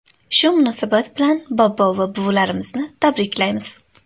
Shu munosabat bilan bobo va buvilarimizni tabriklaymiz.